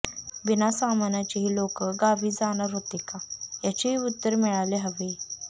बिनासामानाचे हे लोक गावी जाणार होते का याचेही उत्तर मिळाले हवे